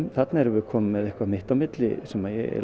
þarna erum við komin með eitthvað mitt á milli sem ég